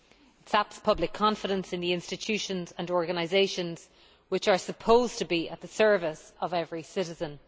It saps public confidence in the institutions and organisations which are supposed to be at the service of every citizen.